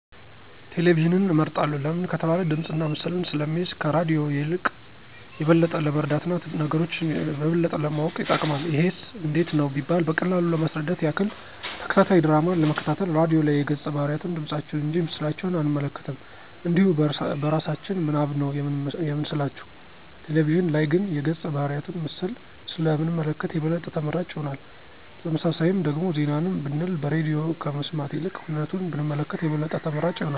ቴሌቪዥንን እመርጣለሁ ለምን ከተባለ ድምፅና ምስልን ስለሚይዝ ከራድዮ የልቅ የበለጠ ለመረዳት እና ነገሮች የበለጠ ለማወቅ ይጠቅማል። ይሄስ እንዴት ነው ቢባል በቀላሉ ለማስረዳት ያክል፦ ተከታታይ ድራማን ለመከታተል ራድዮ ላይ የገፀ ባህርያቱን ድምፃቸውን እንጂ ምስላቸውን አንመለከትም እንዲሁ በእራሳችን ምናብ ነው የምንስላቸው፤ ቴሌቪዥን ላይ ግን የገፀ ባህርያቱን ምስል ስለ ምንመለከት የበለጠ ተመራጭ ይሆናል። በተመሳሳይም ደግሞ ዜናንም ብንል በሬድዮ ከመስማት ይልቅ ሁነቱን ብንመለከት የበለጠ ተመራጭ ይሆናል።